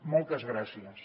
moltes gràcies